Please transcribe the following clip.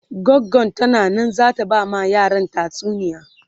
goggo tana Nan zata ta ba ma yaran tatsuniya